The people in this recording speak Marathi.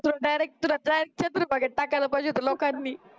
so direct तुला तुला direct चंद्रभागेत टाकायला पाहिजे होत लोकांनी